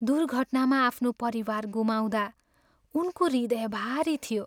दुर्घटनामा आफ्नो परिवार गुमाउँदा उनको हृदय भारी थियो।